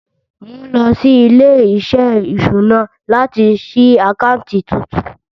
Mo ń lọ sí ilé-iṣẹ́ ìṣúná láti ṣí àkáǹtì tuntun.